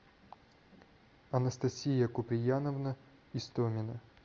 анастасия куприяновна истомина